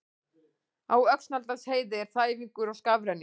Á Öxnadalsheiði er þæfingur og skafrenningur